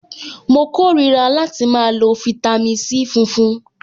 Mo kórìíra láti máa lo fitami C funfun.